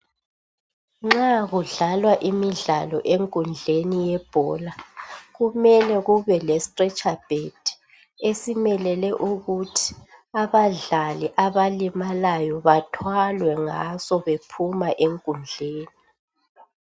Nxa kudlalwa imidlalo enkundleni yebhola. Kumele kube lestretcher bed esimelele ukuthi abadlali abalimalayo bathwalwe ngaso bephuma enkundleni